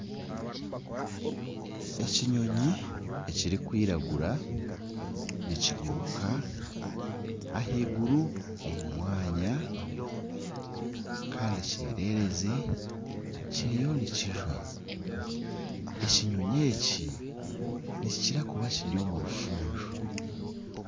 Ekinyoonyi ekirikwiragura nikiguruka ahaiguru omu mwanya kandi ekyererezi kiriyo nikijwa ekinyoonyi eki nikikira kuba kiri omurufuunzo.